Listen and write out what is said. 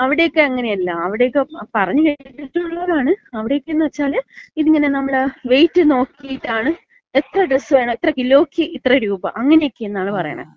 അവിടെക്ക അങ്ങനെയല്ല. അവിടെക്ക പറഞ്ഞ് കേട്ടിട്ടുള്ളതാണ്. അവിടെക്കന്ന് വച്ചാല്, ഇതിങ്ങനെ നമ്മള് വെയിറ്റ് നോക്കിയിട്ടാണ്. എത്ര ഡ്രസ്സ് വേണം? ഇത്ര കിലോക്ക് ഇത്ര രൂപ അങ്ങനെയെന്നൊക്കെയാണ് പറയണെ.